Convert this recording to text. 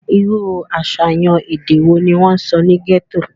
irú àṣàyàn èdè wo ni wọ́n sọ ní gẹ́tò?